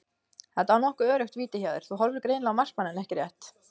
Þetta var nokkuð öruggt víti hjá þér, þú horfðir greinilega á markmanninn ekki rétt?